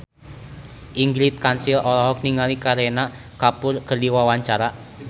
Ingrid Kansil olohok ningali Kareena Kapoor keur diwawancara